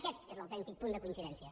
aquest és l’autèntic punt de coincidència